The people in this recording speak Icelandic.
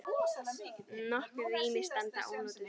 Nokkur rými standa ónotuð.